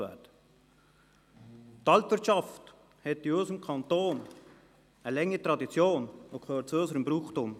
Die Alpwirtschaft hat in unserem Kanton eine lange Tradition und gehört zu unserem Brauchtum.